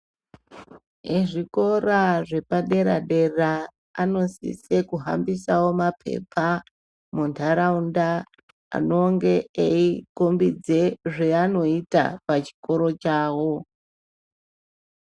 Ezvikora zvepadera dera anosisawo kuhambisa mapepa mundaraunda anonge eikombedza zvaanoita pachikora chawo.